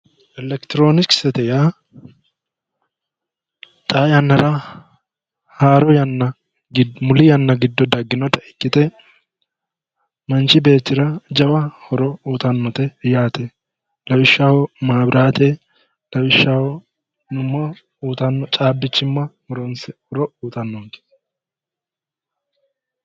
Elekitiroonikisete yaa xaa yannara haaro yanna muli yanna giddo dagginota ikkite manchi beettira jawa horo uyiitannote yaate lawishshaho maabiraate lawishshaho uyiitanno caabbichimma horonsidhuro horo uyiitannonke